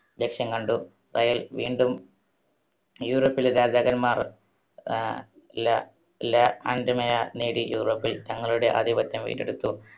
ലക്ഷ്യം കണ്ടു. റയൽ വീണ്ടും യൂറോപ്പിലെ രാജാക്കന്മാർ, ആഹ് ലാ~ലാ നേടി യൂറോപ്പിൽ തങ്ങളുടെ ആധിപത്യം വീണ്ടെടുത്തു.